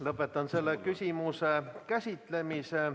Lõpetan selle küsimuse käsitlemise.